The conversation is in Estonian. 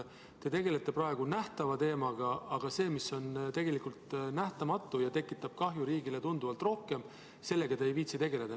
Te tegelete praegu nähtava teemaga, aga sellega, mis on tegelikult nähtamatu ja tekitab tunduvalt rohkem kahju, te ei viitsi tegeleda.